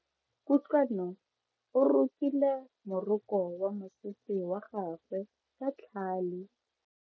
Kutlwano o rokile moroko wa mosese wa gagwe ka tlhale.